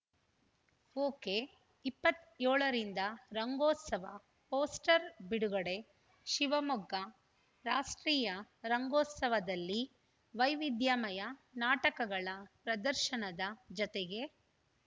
okay ಇಪ್ಪತ್ಯೋಳ ರಿಂದ ರಂಗೋತ್ಸವ ಪೋಸ್ಟರ್‌ ಬಿಡುಗಡೆ ಶಿವಮೊಗ್ಗ ರಾಷ್ಟ್ರೀಯ ರಂಗೋತ್ಸವದಲ್ಲಿ ವೈವಿಧ್ಯಮಯ ನಾಟಕಗಳ ಪ್ರದರ್ಶನದ ಜತೆಗೆ